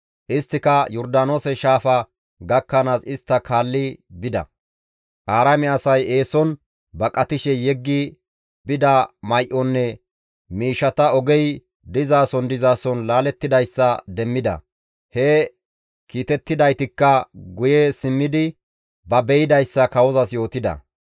Isttika Yordaanoose shaafa gakkanaas istta kaalli bida. Aaraame asay eeson baqatishe yeggi bida may7onne miishshata ogey dizason dizason laalettidayssa demmida; he kiitettidaytikka guye simmidi ba be7idayssa kawozas yootida.